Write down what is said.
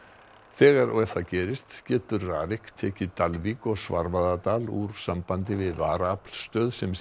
þegar það gerist getur RARIK tekið Dalvík og Svarfaðardal úr sambandi við varaaflsstöð sem